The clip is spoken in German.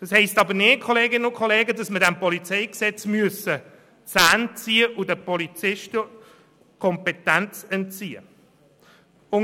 Das heisst aber nicht, dass wir dem PolG die Zähne ziehen und den Polizisten Kompetenz entziehen sollen.